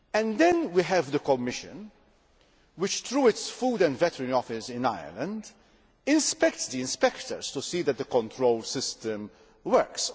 Then we have the Commission which, through its Food and Veterinary Office in Ireland, inspects the inspectors to see that the control system works.